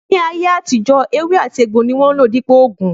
Ni ayé àtijó, ewé àti egbò ní wón n lò dípò oògùn